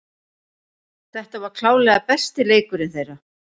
Þetta var klárlega besti leikurinn þeirra.